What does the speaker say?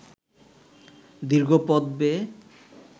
দীর্ঘ পথ বেয়ে